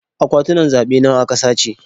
Akwatunan zaɓe nawa aka sace?